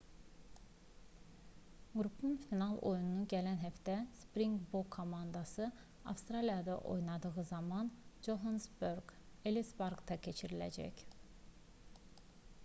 qrupun final oyunu gələn həftə sprinqbok komandası avstraliyada oynadığı zaman johannesburg ellis parkda keçiriləcək